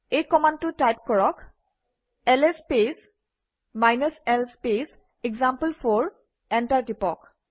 এই কমাণ্ডটো টাইপ কৰক - LS space l space example four enter টিপক